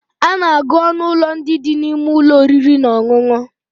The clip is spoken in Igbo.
A na-agụ ọnụ ụlọ ndị dị n'ime ụlọ oriri na ọṅụṅụ